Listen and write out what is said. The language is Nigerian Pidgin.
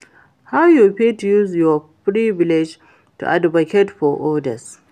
how you fit use your privilege to advocate for odas?